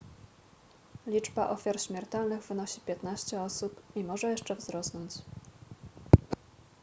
liczba ofiar śmiertelnych wynosi 15 osób i może jeszcze wzrosnąć